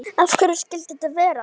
Af hverju skyldi þetta vera?